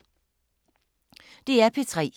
DR P3